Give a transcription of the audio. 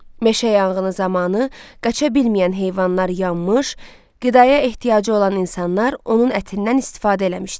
Meşə yanğını zamanı qaça bilməyən heyvanlar yanmış, qidaya ehtiyacı olan insanlar onun ətindən istifadə eləmişdilər.